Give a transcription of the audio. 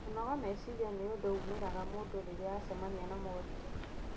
Kũnoga meciria nĩ ũndũ umĩraga mũndũ rĩrĩa acemania na moritũ